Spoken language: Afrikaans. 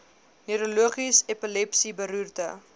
neurologies epilepsie beroerte